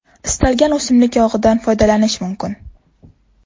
Istalgan o‘simlik yog‘idan foydalanish mumkin.